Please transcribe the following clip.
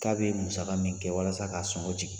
K'a bɛ musaka min kɛ walasa k'a sɔngɔ jigin